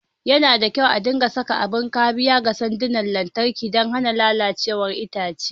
Yana da kyau a dinga saka abin kariya ga sandunan lantarki don hana lalacewar itace.